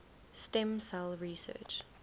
stem cell research